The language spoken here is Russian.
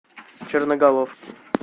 черноголовки